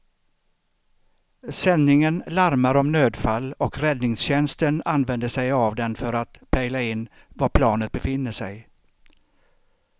Sändningen larmar om nödfall och räddningstjänsten använder sig av den för att pejla in var planet befinner sig.